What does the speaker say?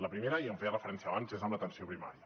la primera i hi feia referència abans és en l’atenció primària